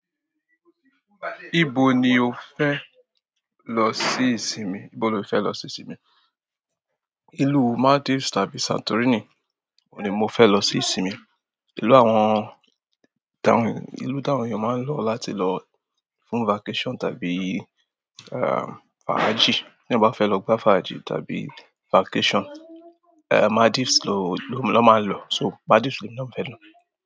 Nibo ni o fẹ lọ si ìsinmi, nibo ni o ti fẹ lọ se ìsinmi. Ìlú Maldives tàbí Santorini òun ní mo fẹ́ lọ se ìsinmi. Ìlú àwọn, ìlú dàhùn ni wọ́n máa ń lọ láti lọ fún vacation tàbí um fàájì. Teeyan bá fẹ́ lọ gbá fàájì tàbí vacation, Maldives lón máa ń lọ. So Maldives lemi náà fẹ́ lọ.